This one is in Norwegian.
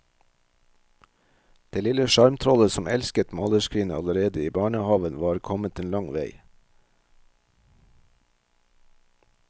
Det lille sjarmtrollet som elsket malerskrinet allerede i barnehaven, var kommet en lang vei.